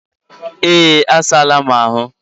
Eeeh, a saala mu ahu